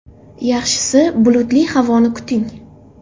Yaxshisi bulutli havoni kuting.